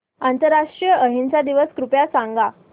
आंतरराष्ट्रीय अहिंसा दिवस कृपया सांगा